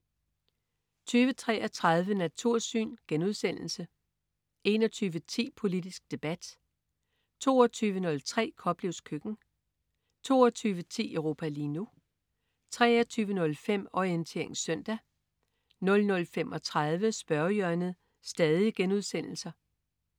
20.33 Natursyn* 21.10 Politisk debat* 22.03 Koplevs køkken* 22.10 Europa lige nu* 23.05 Orientering søndag* 00.35 Spørgehjørnet*